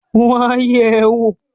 Wọ́n á yẹ̀ ẹ́ wò!